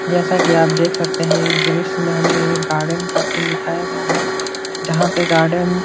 जैसा कि आप देख सकते हैं इस दृश्य में हमें एक गार्डन का सीन दिखाया गया है। जहाँ पे गार्डन --